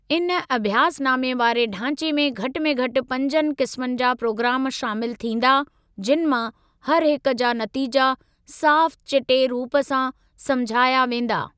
इन अभ्यासनामे वारे ढांचे में घटि में घटि पंजनि क़िस्मनि जा प्रोग्राम शामिल थींदा, जिनि मां हर हिक जा नतीजा साफ़ चिटे रूप सां समुझाया वेंदा।